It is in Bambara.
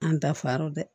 An dafara dɛ